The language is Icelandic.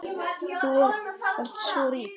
Þú varst svo rík.